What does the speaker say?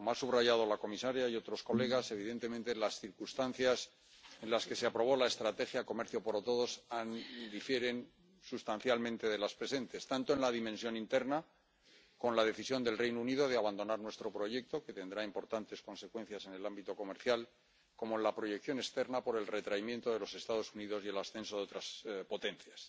Como han subrayado la comisaria y otros diputados, evidentemente las circunstancias en las que se aprobó la estrategia Comercio para todos difieren sustancialmente de las presentes tanto en la dimensión interna —con la decisión del Reino Unido de abandonar nuestro proyecto, que tendrá importantes consecuencias en el ámbito comercial— como en la proyección externa —por el retraimiento de los Estados Unidos y el ascenso de otras potencias—.